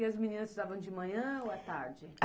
E as meninas estudavam de manhã ou à tarde?